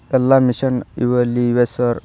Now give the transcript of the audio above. ಎಲ್ಲಾ ಮಿಷನ್ ಇವು ಅಲ್ಲಿ ಇವೆ ಸಾರ್ .